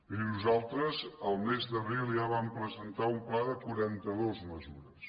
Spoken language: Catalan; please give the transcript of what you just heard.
miri nosaltres el mes d’abril ja vàrem presentar un pla de quaranta·dues mesures